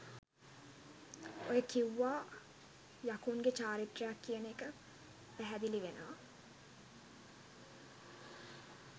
ඔය කිව්වා යකුන් ගේ චාරිත්‍රයක් කියන එක පැහැදිලි වෙනවා